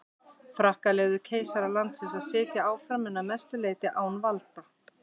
Frakkar leyfðu keisara landsins að sitja áfram en að mestu leyti án valda.